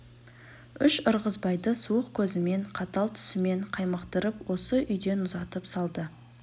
үш ырғызбайды суық көзімен қатал түсімен қаймықтырып осы үйден ұзатып салды